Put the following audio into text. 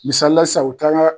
Misali la sisan u bɛ taa an ka